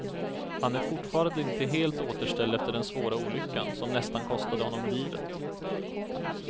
Han är fortfarande inte helt återställd efter den svåra olyckan som nästan kostade honom livet.